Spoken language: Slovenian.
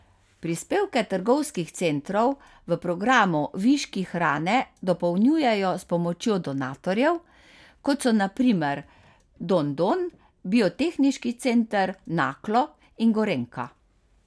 Prispevke trgovskih centrov v programu Viški hrane dopolnjujejo s pomočjo donatorjev, kot so na primer Don don, Biotehniški center Naklo in Gorenjka.